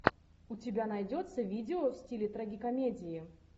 у тебя найдется видео в стиле трагикомедии